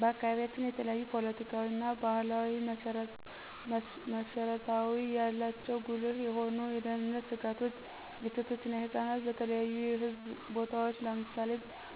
በአካባቢያችን የተለያዩ ፓለቲካዊና ባህላዊ መስረታው ያላቸው ጉልህ የሆኑ የደህንነት ስጋቶች የሴቶች እና የህፃናት በተለያዩ የህዝብ ቦታዎች ለምሳሌ